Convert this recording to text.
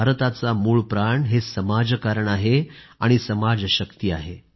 भारताचा मूळप्राण हे समाजकारण आहे आणि समाजशक्ती आहे